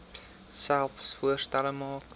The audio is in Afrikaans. selfs voorstelle maak